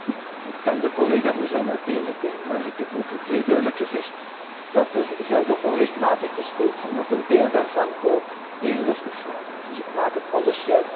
Ik dank de collega voor zijn uiteenzetting, maar ik heb ook zeer duidelijk gezegd dat er gelden onrechtmatig besteed zijn en dat een deel daarvan ook regelrechte fraude is. Dus ik maak het onderscheid.